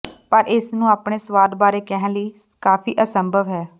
ਪਰ ਇਸ ਨੂੰ ਆਪਣੇ ਸੁਆਦ ਬਾਰੇ ਕਹਿਣ ਲਈ ਕਾਫ਼ੀ ਅਸੰਭਵ ਹੈ